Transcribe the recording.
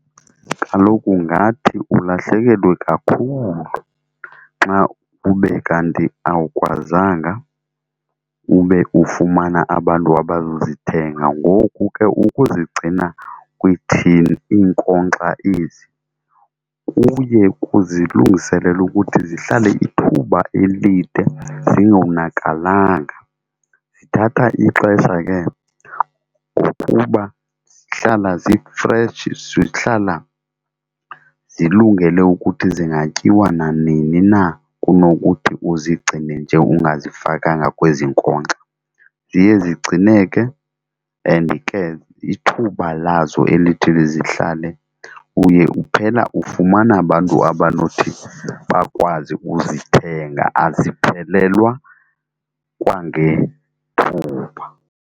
Kaloku ngathi ulahlekelwe kakhulu xa ube kanti awukwazanga ube ufumana abantu abazozithenga ngoku ke ukuzigcina kwii-tin iinkonkxa ezi kuye kuzilungiselele ukuthi zihlale ithuba elide zingonakalanga. Zithatha ixesha ke ngokuba zihlala zifreshi, zihlala zilungele ukuthi zingatyiwa nanini na kunokuthi uzigcine nje ungazifakanga kwezi nkonkxa. Ziye zigcineke and ke ithuba lazo elithi lizihlale uye uphela ufumana abantu abanothi bakwazi uzithenga. Aziphelelwa kwangethuba.